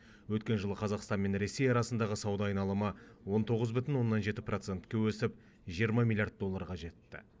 өткен жылы қазақстан мен ресей арасындағы сауда айналымы он тоғыз бүтін оннан жеті процентке өсіп жиырма миллиард долларға жетті